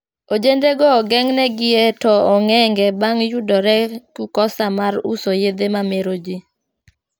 Ojende go ogengnegi e to ong`enge bang yudore ku kosa mar uso yedhe ma meroji